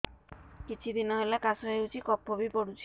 କିଛି ଦିନହେଲା କାଶ ହେଉଛି କଫ ବି ପଡୁଛି